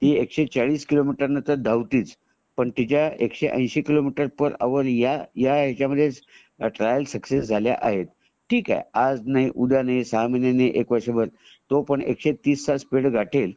ती एकशे चाळीस किलोमीटर णे तर धावतेच पण तिच्या एकशे ऐंशी किलोमीटर पर यांवर ह्या ह्याचमध्ये ट्रायल सक्सेस झाल्या आहेत . ठीक आहे आज नाही उदय नाही सहा महिन्यांनी एक वर्षभर तो पण एकशे तीस चा स्पीड गाठेल